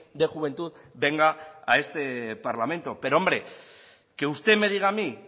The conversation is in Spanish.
de juventud venga a este parlamento pero hombre que usted me diga a mí